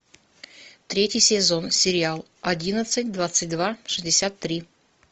третий сезон сериал одиннадцать двадцать два шестьдесят три